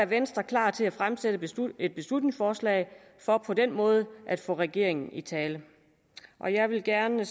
venstre klar til at fremsætte et beslutningsforslag for på den måde at få regeringen i tale jeg vil gerne